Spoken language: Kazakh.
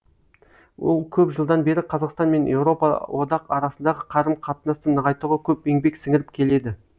ол көп жылдан бері қазақстан мен еуропа одақ арасындағы қарым қатынасты нығайтуға көп еңбек сіңіріп келеді